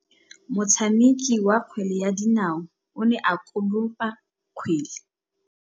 Motshameki wa kgwele ya dinaô o ne a konopa kgwele.